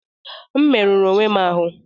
M merụrụ onwe m ahụ́